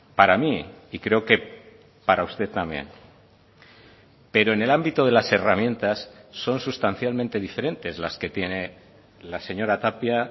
para mí y creo que para usted también pero en el ámbito de las herramientas son sustancialmente diferentes las que tiene la señora tapia